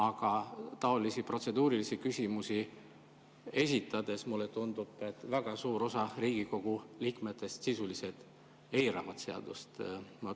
Aga taolisi protseduurilisi küsimusi esitades, mulle tundub, väga suur osa Riigikogu liikmetest sisuliselt eirab seadust.